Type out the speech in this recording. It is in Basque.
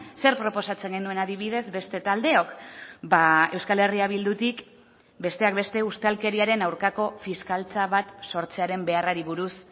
zer proposatzen genuen adibidez beste taldeok euskal herria bildutik besteak beste ustelkeriaren aurkako fiskaltza bat sortzearen beharrari buruz